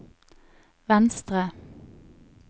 venstre